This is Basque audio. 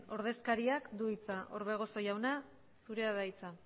ordezkariak du hitza orbegozo jauna zurea da hitza